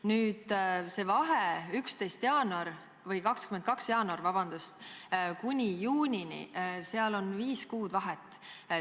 Nüüd see vahe 22. jaanuarist kuni juunini, seal on viis kuud vahet.